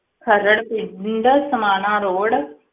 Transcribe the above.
ਖਰੜ ਪਿ~ ਪਿੰਡ ਸਮਾਣਾ road